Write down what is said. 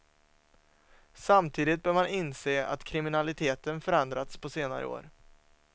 Samtidigt bör man inse att kriminaliteten förändrats på senare år.